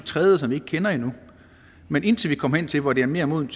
tredje som vi ikke kender endnu men indtil vi kommer hen til hvor det er mere modent